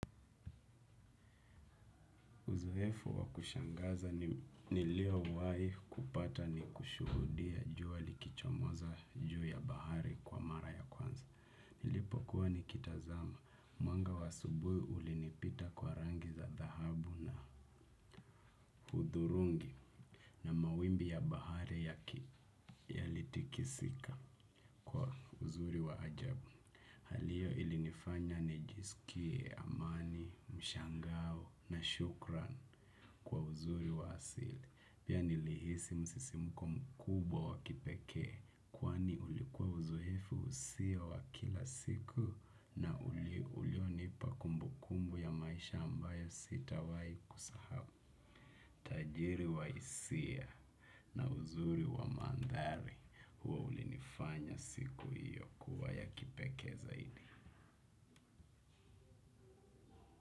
Uzoefu wa kushangaza niliowai kupata ni kushuhudia jua likichomoza juu ya bahari kwa mara ya kwanza. Nilipokuwa nikitazama. Mwanga wa asubuhi ulinipita kwa rangi za dhahabu na hudhurungi na mawimbi ya bahari yaki yalitikisika kwa uzuri wa ajabu. Hali hiyo ilinifanya nijisikie amani, mshangao na shukran kwa uzuri wa asili. Pia nilihisi msisimuko kubwa wa kipeke, kwani ulikuwa uzoefu sio wa kila siku na ulio nipa kumbu kumbu ya maisha ambayo sitawai kusahau. Tajiri wa hisia na uzuri wa mandhari huwa ulinifanya siku hiyo kuwa ya kipeke zaidi.